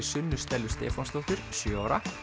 Sunnu Stellu Stefánsdóttur sjö ára